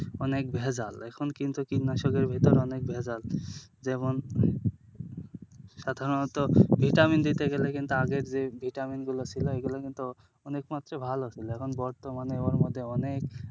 অনেক ভেজাল, এখন কিন্তু কীটনাশকের ভিতর অনেক ভেজাল, যেমন সাধারনত vitamin দিতে গেলে কিন্তু আগে যে vitamin গুলো ছিল ঐগুলো কিন্তু অনেকমাত্র ভালো ছিল এখন বর্তমানে ওর মধ্যে অনেক,